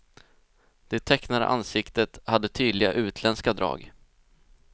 Det tecknade ansiktet hade tydliga utländska drag.